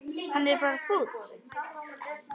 Hann er bara fúll.